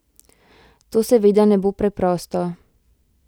To seveda ne bo preprosto.